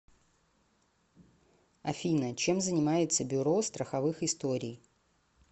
афина чем занимается бюро страховых историй